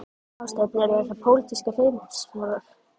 Hafsteinn: Eru þessar pólitískar hreinsanir?